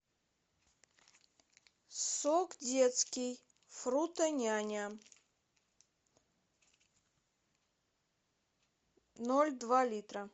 сок детский фрутоняня ноль два литра